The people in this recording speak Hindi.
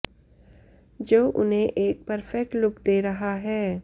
जो उन्हें एक परफेक्ट लुक दे रहा है